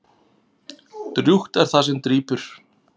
Drjúgt er það sem drýpur.